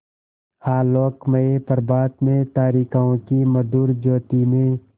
आलोकमय प्रभात में तारिकाओं की मधुर ज्योति में